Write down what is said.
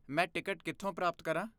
ਮੈਂ ਟਿਕਟ ਕਿੱਥੋਂ ਪ੍ਰਾਪਤ ਕਰਾਂ?